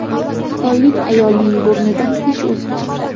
Xitoylik ayolning burnidan tish o‘sib chiqdi.